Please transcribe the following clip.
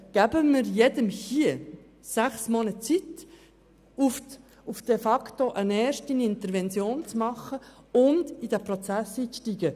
Geben wir jedem hier sechs Monate Zeit, um eine erste Intervention zu absolvieren und in diesen Prozess einzusteigen.